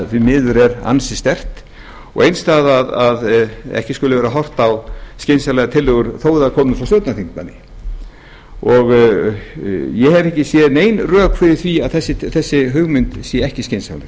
því miður er ansi sterkt og eins það að ekki skuli vera horft á skynsamlegar tillögur þó þær komi frá stjórnarþingmanni ég hef ekki séð nein rök fyrir því að þessi hugmynd sé ekki skynsamleg